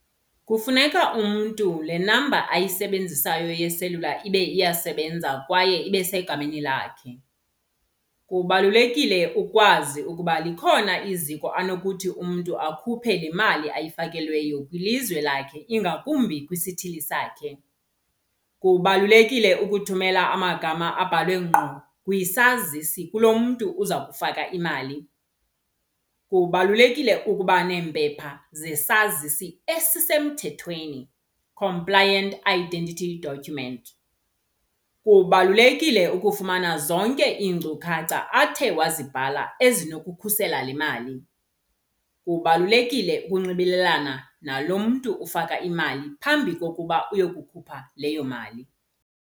Kufuneka umntu le namba ayisebenzisayo yeselula ibe iyasebenza kwaye ibe isegameni lakhe. Kubalulekile ukwazi ukuba likhona iziko anokuthi umntu akhuphe le mali ayifakelweyo kwilizwe lakhe ingakumbi kwisithili sakhe. Kubalulekile ukuthumela amagama abhalwe ngqo kwisazisi kulo mntu uza kufaka imali. Kubalulekile ukuba neempepha zesazisi esisemthethweni, compliant identity document. Kubalulekile ukufumana zonke iinkcukacha athe wazibhala ezinokukhusela le mali. Kubalulekile ukunxibelelana nalo mntu ufaka imali phambi kokuba uyokukhupha leyo mali.